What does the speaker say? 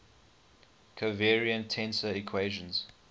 covariant tensor equations